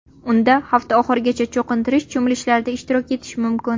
Unda hafta oxirigacha cho‘qintirish cho‘milishlarida ishtirok etish mumkin.